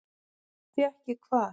Fékk ég hvað?